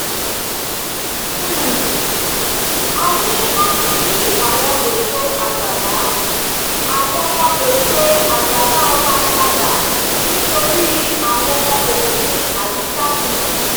um a ní láti yí àwọn ètò àgbàlá àwọn ètò àgbàlá wa padà nítorí àwọn òfin àyíká tuntun